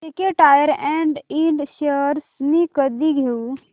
JK tyre and ind shares मी कधी घेऊ